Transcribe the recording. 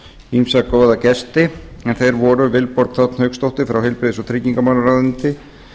ýmsa góða gesti en þeir voru vilborg þ hauksdóttir frá heilbrigðis og tryggingamálaráðuneyti